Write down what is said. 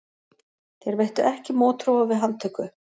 Þeir veittu ekki mótþróa við handtöku